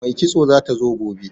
Mai kitso zata zo gobe